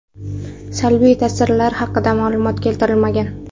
Salbiy ta’sirlar haqida ma’lumot keltirilmagan.